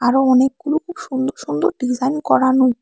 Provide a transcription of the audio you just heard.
আরো অনেকগুলো খুব সুন্দর সুন্দর ডিজাইন করানু।